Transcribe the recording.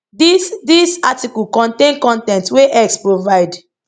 dis dis article contain con ten t wey x provide